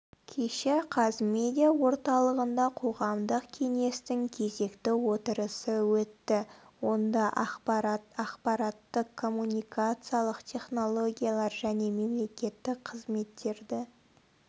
кеше қазмедиа орталығында қоғамдық кеңестің кезекті отырысы өтті онда ақпарат ақпараттық коммуникациялық технологиялар және мемлекеттік қызметтерді